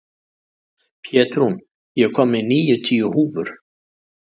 Pétrún, ég kom með níutíu húfur!